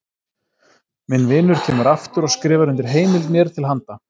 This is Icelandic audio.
Minn vinur kemur aftur og skrifar undir heimild mér til handa.